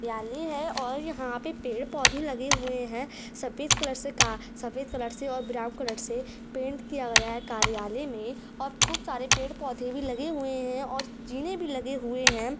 जाली है और यहां पे पेड़ पौधे लगे हुए है सफेद कलर से सफेद कलर से और ब्राउन कलर से पेंट किया गया है कार्यालय में और खूब सारे पेड़ पौधे भी लगे हुए हैं जीने भी लगे हुए हैं।